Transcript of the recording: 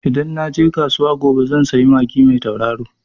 Idan na je kasuwa gobe zan sayi magi mai tauraro.